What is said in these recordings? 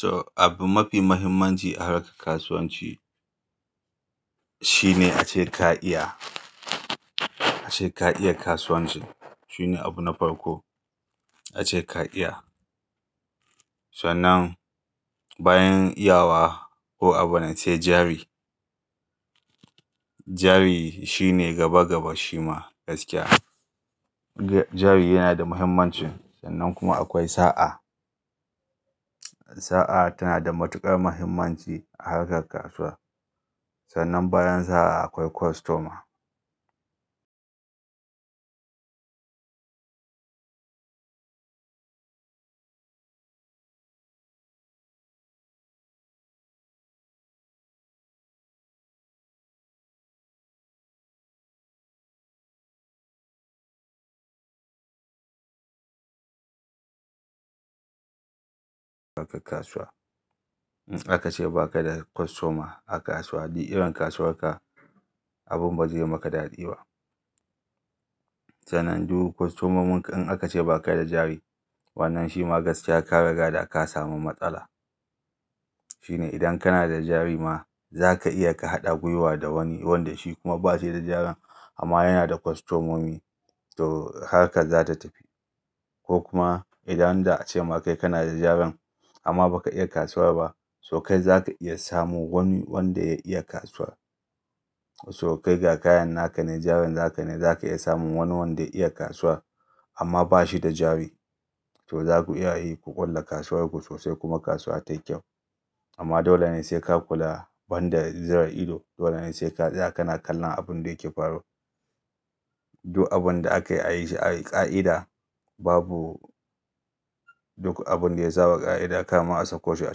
To, abu mafi mahimmanci a harkar kasuwanci, shine ace ka iya, ace ka iya kasuwanci, shine abu na farko, ace ka iya. Sannan, bayan iyawa ko abune, sai jari. Jari shine gaba-gaba shi ma, gaskiya. Jari yana da mahimmanci, sannan kuma akwai sa'a. Sa'a tana da matuƙar mahimmanci a harkar kasuwa. Sannan bayan sa'a akwai kostoma. Ba ka kasuwa. Aka ce ba ka da kostoma a kasuwa, duk irin kasuwar ka, abun ba zai yi maka daɗi ba. Sannan duk kostomomin ka in aka ce ba ka da jari, wannan shi ma gaskiya ka riga da ka samu matsala. Shine idan kana da jari ma, za ka iya ka haɗa gwiwa da wani wanda shi kuma ba shi da jarin, amma yana da kostomomi, to harkar za ta tafi. Ko kuma, idan da a ce ma kai kana da jarin, amma ba ka iya kasuwa ba, to kai za ka iya samo wani wanda ya iya kasuwa. To kai ga kayan naka ne, jarin naka ne, za ka iya samun wani wanda ya iya kasuwa, amma ba shi da jari. To za ku iya yi, ku ƙulla kasuwar ku sosai kuma kasuwa tayi kyau. Amma dole ne sai ka kula, banda zira ido. Dole ne sai ka tsaya kana kallan abin da yake faruwa. Duk abun da aka yi a yi shi a ƙa'ida babu, duk abun da ya saɓa ƙa'ida karma a sako shi a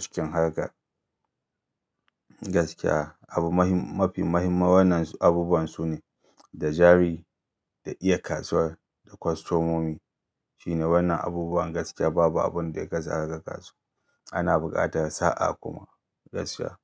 cikin harkar. Gaskiya, abu mafi mahimmanci wannan abubuwan sune da jari, da iya kasuwa, da kostomomi, shine wannan abubuwan gaskiya babu abun da ya kaisu a harkar kasuwa. Ana buƙatar sa'a kuma, gaskiya.